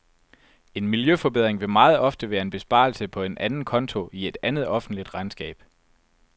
En miljøforbedring vil meget ofte være en besparelse på en anden konto i et andet offentligt regnskab.